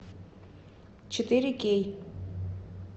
четыре кей